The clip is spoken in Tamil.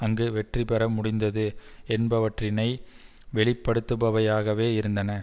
அங்கு வெற்றி பெற முடிந்தது என்பவற்றினை வெளிப்படுத்துபவையாகவே இருந்தன